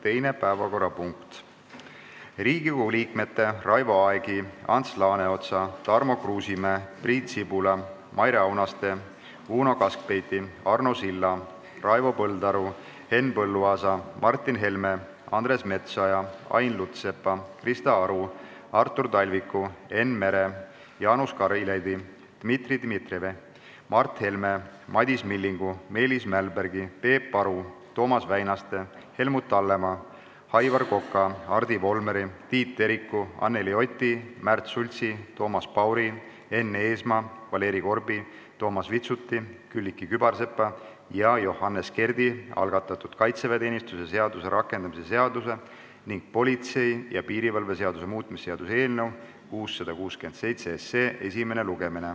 Teine päevakorrapunkt on Riigikogu liikmete Raivo Aegi, Ants Laaneotsa, Tarmo Kruusimäe, Priit Sibula, Maire Aunaste, Uno Kaskpeiti, Arno Silla, Raivo Põldaru, Henn Põlluaasa, Martin Helme, Andres Metsoja, Ain Lutsepa, Krista Aru, Artur Talviku, Enn Mere, Jaanus Karilaidi, Dmitri Dmitrijevi, Mart Helme, Madis Millingu, Meelis Mälbergi, Peep Aru, Toomas Väinaste, Helmut Hallemaa, Aivar Koka, Hardi Volmeri, Tiit Teriku, Anneli Oti, Märt Sultsi, Toomas Pauri, Enn Eesmaa, Valeri Korbi, Toomas Vitsuti, Külliki Kübarsepa ja Johannes Kerdi algatatud kaitseväeteenistuse seaduse rakendamise seaduse ning politsei ja piirivalve seaduse muutmise seaduse eelnõu 667 esimene lugemine.